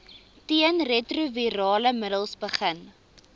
teenretrovirale middels begin